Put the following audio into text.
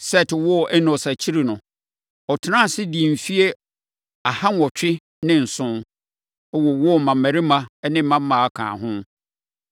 Set woo Enos akyiri no, ɔtenaa ase, dii mfeɛ aha nwɔtwe ne nson, wowoo mmammarima ne mmammaa kaa ho.